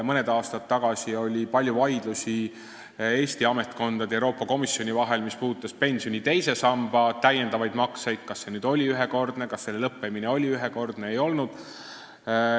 Mõni aasta tagasi oli palju vaidlusi Eesti ametkondade ja Euroopa Komisjoni vahel, need puudutasid pensioni teise samba täiendavaid makseid, et kas need olid ühekordsed ja kas nende lõppemine oli ühekordne või ei olnud.